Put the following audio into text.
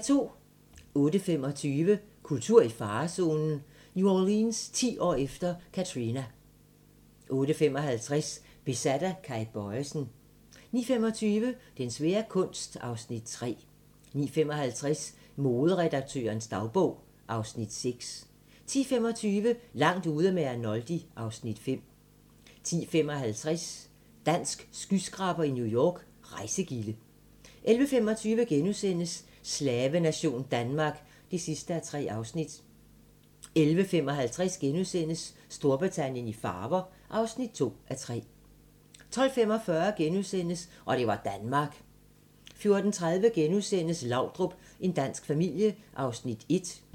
08:25: Kultur i farezonen - New Orleans ti år efter Katrina 08:55: Besat af Kay Bojesen 09:25: Den svære kunst (Afs. 3) 09:55: Moderedaktørens dagbog (Afs. 6) 10:25: Langt ude med Arnoldi (Afs. 5) 10:55: Dansk skyskraber i New York - Rejsegilde 11:25: Slavenation Danmark (3:3)* 11:55: Storbritannien i farver (2:3)* 12:45: Og det var Danmark * 14:30: Laudrup – en dansk familie (1:2)*